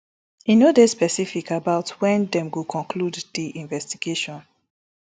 e no dey specific about when dem go conclude di investigation